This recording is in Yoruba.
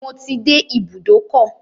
Mo ti dé ibùdókọ̀.